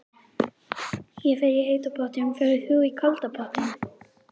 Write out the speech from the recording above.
Ég fer í heita pottinn. Ferð þú í kalda pottinn?